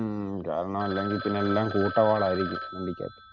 ഉം കാരണം അല്ലെങ്കിൽ പിന്നെല്ലാം കൂട്ട വാള് ആരിക്കും വണ്ടിക്കകത്തു.